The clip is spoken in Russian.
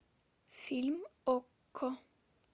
фильм окко